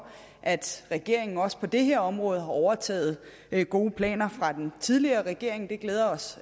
at regeringen også på det her område har overtaget gode planer fra den tidligere regering det glæder os